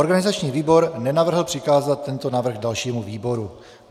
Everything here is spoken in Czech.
Organizační výbor nenavrhl přikázat tento návrh dalšímu výboru.